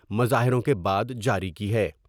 مظاہروں کے بعد جاری کی ہے ۔